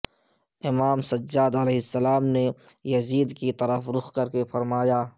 امام سجادع نے یزید کی طرف رخ کر کے فرمایا